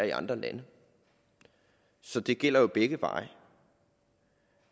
i andre lande så de gælder begge veje